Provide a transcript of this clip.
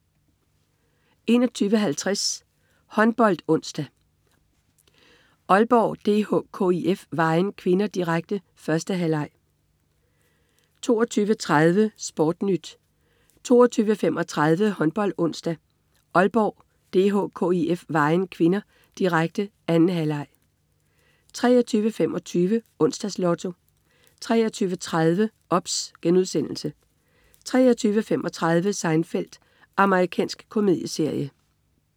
21.50 HåndboldOnsdag: Aalborg DH-KIF Vejen (k), direkte. 1. halvleg 22.30 SportNyt 22.35 HåndboldOnsdag: Aalborg DH-KIF Vejen (k), direkte. 2. halvleg 23.25 Onsdags Lotto 23.30 OBS* 23.35 Seinfeld. Amerikansk komedieserie